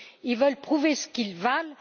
Ils veulent prouver ce qu'ils valent.